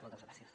moltes gràcies